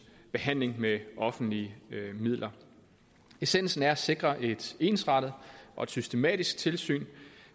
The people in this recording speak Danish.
behandling med offentlige midler essensen er at sikre et ensrettet og systematisk tilsyn